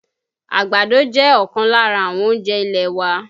Àgbàdo jẹ́ ọ̀kan lára àwọn oúnjẹ ilẹ̀ wa